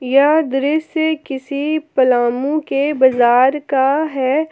यह दृश्य किसी पलामू के बजार का है।